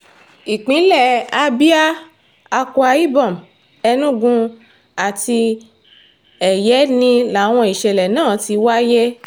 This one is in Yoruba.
ìpínlẹ̀ abia akwa ibom enugu àti ẹ̀yẹ́ni làwọn ìṣẹ̀lẹ̀ náà ti wáyé